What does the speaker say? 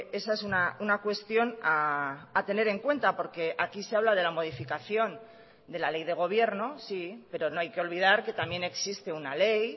esa es una cuestión a tener en cuenta porque aquí se habla de la modificación de la ley de gobierno sí pero no hay que olvidar que también existe una ley